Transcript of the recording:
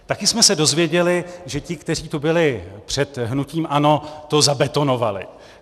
Také jsme se dozvěděli, že ti, kteří tu byli před hnutím ANO, to zabetonovali.